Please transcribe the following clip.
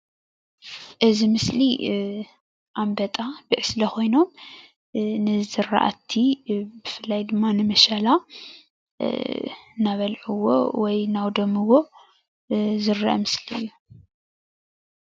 እዚ ምስሊ ኣንበጣ ብዕስለ ኮይኖም ንዝርኣቲ ብፍላይ ድማ ንምሸላ እናበልዑዎ ወይ እናውደምዎ ዝረአ ምስሊ እዩ።